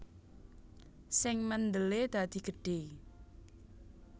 Sing mendele dadi gedhe